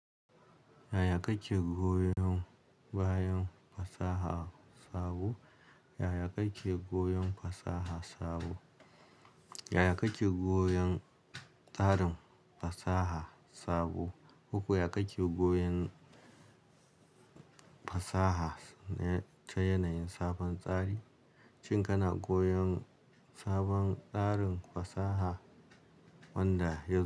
Yaya kake goyon bayan fasaha sabo? Yaya kake goyon fasaha sabo? Yaya kake goyon tarin fasaha sabo? Koko ya kake goyon fasaha ta yanayin sabon tsari, shin kana goyon sabon tsarin fasaha wanda yanzu.